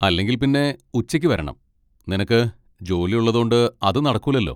അല്ലെങ്കിൽ പിന്നെ ഉച്ചയ്ക്ക് വരണം, നിനക്ക് ജോലി ഉള്ളതോണ്ട് അത് നടക്കൂലല്ലോ.